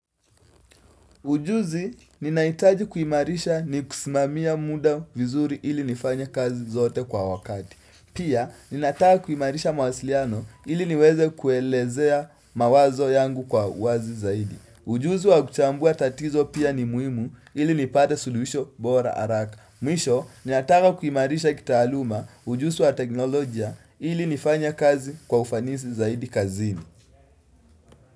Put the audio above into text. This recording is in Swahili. Ujuzi, ninaitaji kuhimarisha ni kusimamia muda vizuri ili nifany kazi zote kwa wakati. Pia, ninataka kuhimarisha mawasiliano ili niweze kuelezea mawazo yangu kwa wazi zaidi. Ujuzi wa kuchambua tatizo pia ni muimu ili nipate suluhisho bora haraka. Mwisho, ninataka kuhimarisha kitahaluma ujuzi wa teknolojia ili nifanye kazi kwa ufanisi zaidi kazini.